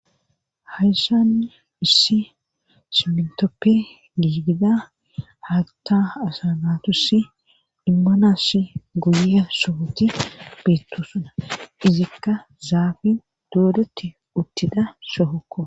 hayssanni issi simintoppe giidida hatta asa natussi immanasi guyye sohoti beettosuna izikka zaafin doodotti uttida shohokko